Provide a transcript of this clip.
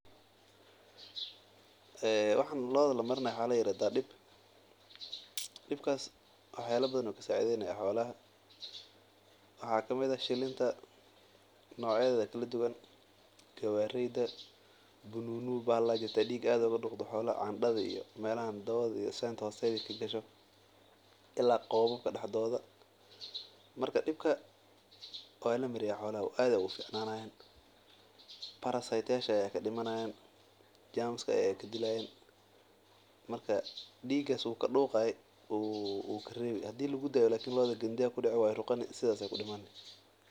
Waxan looda lamarinayo waxaa ladahaa dib, wax yaabaha badan ayuu lacawiyaa, shikinta ayuu kacawiya, waa lamariya xoolaha aad ayeey ugu ficnanayaan, diiga iyo waxaas ayuu kareebi.